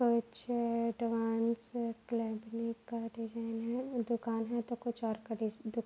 कुछ advance company का design है। दुकान है। तो कूछ और का डीसा दुका --